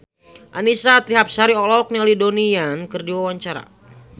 Annisa Trihapsari olohok ningali Donnie Yan keur diwawancara